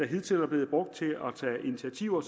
hidtil er blevet brugt til at tage initiativer